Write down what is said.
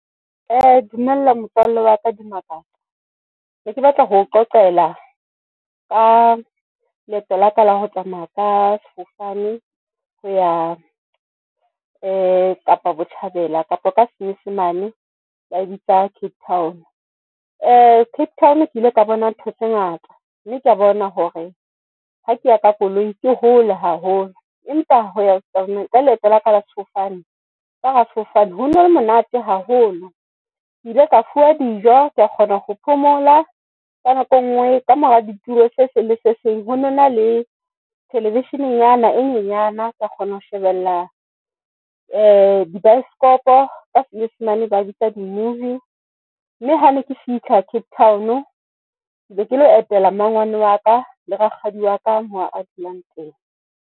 Dumela motswalle wa ka Dimakatso neke batla ho qoqela ka leeto la ka la ho tsamaya ka sefofane, ho ya Kapa Botjhabela kapa ka senyesemane ba e bitsa Cape Town. Cape Town ke ile ka bona ntho tse ngata, mme kea bona hore ha kea ka koloi ke hole haholo. Empa hoya ka leeto la ka la sefofane ka hara sefofane hona le monate haholo, Ke ile ka fuwa dijo. Ka kgona ho phomola ka nako e ngwe. Ka mora ditiro se sengwe se seng ho nona le thelevishinenyana nyana ka kgona ho shebella di baeskopo ka senyesemane ba e bitsa di-movie mme ha ne ke fihla Cape Town, kebe ke lo etela mmangwane wa ka le rakgadi wa ka mo a dulang teng.